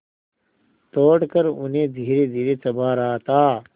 तोड़कर उन्हें धीरेधीरे चबा रहा था